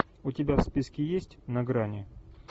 у тебя в списке есть на грани